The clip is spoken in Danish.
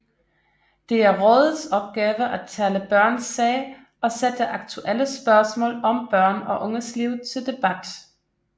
Det er rådets opgave at tale børns sag og sætte aktuelle spørgsmål om børn og unges liv til debat